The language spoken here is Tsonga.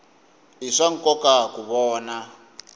i swa nkoka ku vona